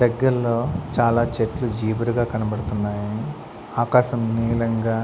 దగ్గరలో చాలా చెట్లు జీబురుగా కనబడుతున్నాయి ఆకాశం నీలంగా.